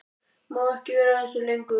Má ekki vera að þessu lengur.